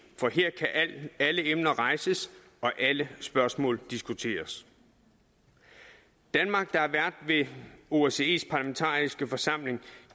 for her kan alle emner rejses og alle spørgsmål diskuteres danmark der er vært ved osces parlamentariske forsamling